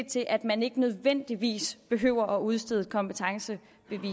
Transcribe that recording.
til at man ikke nødvendigvis behøver at udstede et kompetencebevis